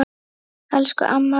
Elsku amma Ragna.